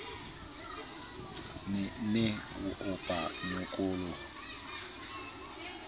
ne e opa a nyokgoloha